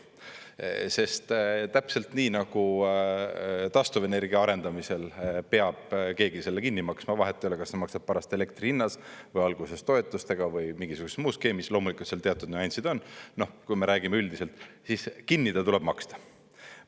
Sest täpselt nii nagu taastuvenergia arendamisel peab keegi selle kinni maksma, vahet ei ole, kas sa maksad seda pärast elektri hinnas või alguses toetustega või mingisuguses muus skeemis, loomulikult seal teatud nüansid on, kui me räägime üldiselt, siis kinni ta tuleb maksta.